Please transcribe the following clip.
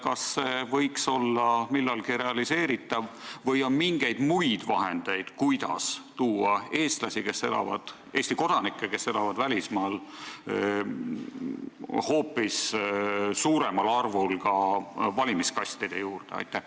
Kas see võiks olla millalgi realiseeritav või on mingeid muid vahendeid, kuidas tuua eestlasi, Eesti kodanikke, kes elavad välismaal, hoopis suuremal arvul ka valimiskastide juurde?